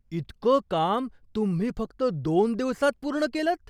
इतकं काम तुम्ही फक्त दोन दिवसांत पूर्ण केलंत?